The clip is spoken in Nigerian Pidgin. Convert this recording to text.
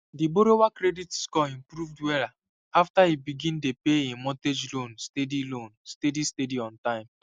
the borrower credit score improve wella after e begin dey pay e mortgage loan steady loan steady steady on time